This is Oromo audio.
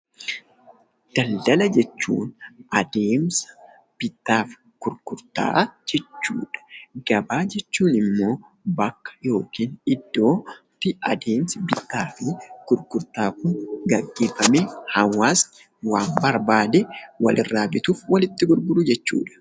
Daldala jechuun adeemsa bittaaf gurgurtaa jechuudha. Gabaa jechuun immoo bakka yookin iddootti adeemsi bittaa fi gurgurtaan geggeeffamee hawaasni waan barbaade walirraa bituuf walitti gurguru jechuudha.